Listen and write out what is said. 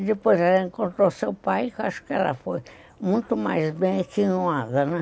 E depois ela encontrou seu pai, que eu acho que ela foi muito mais bem que nada, né?